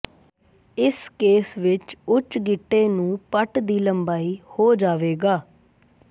ਇਸ ਕੇਸ ਵਿੱਚ ਉੱਚ ਗਿੱਟੇ ਨੂੰ ਪਟ ਦੀ ਲੰਬਾਈ ਹੋ ਜਾਵੇਗਾ